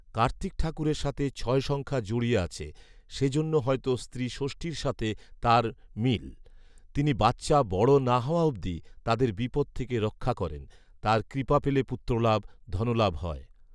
কার্তিক ঠাকুরের সাথে ছয় সংখ্যা জড়িয়ে আছে৷ সেজন্য হয়ত স্ত্রী ষষ্ঠীর সাথে তার মিল৷তিনি বাচ্চা বড় না হওয়া অব্দি তাদের বিপদ থেকে রক্ষা করেন ৷তার কৃপা পেলে পুত্রলাভ , ধনলাভ হয় ৷